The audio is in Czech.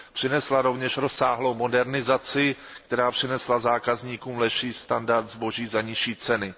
Přinesla rovněž rozsáhlou modernizaci, která přinesla zákazníkům lepší standard zboží za nižší ceny.